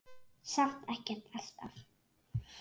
Samt ekkert alltaf.